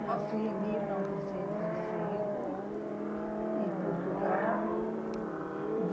Nasci em mil novecentos e cinco, em Portugal.